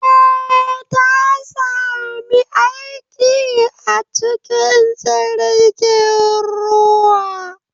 Eh, Ta sami aiki a cikin jirgin ruwa